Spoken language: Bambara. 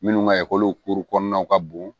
Minnu ka ekɔli kuru kɔnɔnaw ka bon